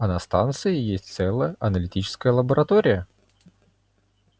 а на станции есть целая аналитическая лаборатория